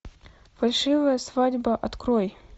фальшивая свадьба открой